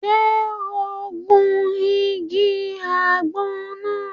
Ṣe o n gun ìgi àgbon náà?